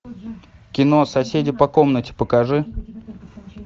кино соседи по комнате покажи